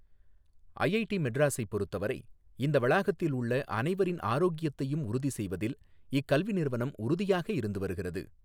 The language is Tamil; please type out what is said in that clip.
ஐஐடி மெட்ராஸைப் பொருத்தவரை இந்த வளாகத்தில் உள்ள அனைவரின் ஆரோக்கியத்தையும் உறுதி செய்வதில் இக்கல்வி நிறுவனம் உறுதியாக இருந்து வருகிறது.